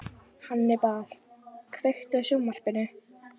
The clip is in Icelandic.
Hannibal, kveiktu á sjónvarpinu.